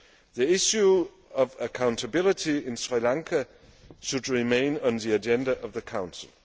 The issue of accountability in Sri Lanka should remain on the agenda of the Council.